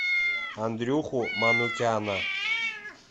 андрюху манукяна